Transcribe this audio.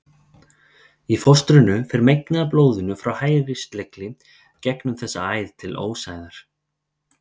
Í fóstrinu fer megnið af blóðinu frá hægri slegli gegnum þessa æð til ósæðar.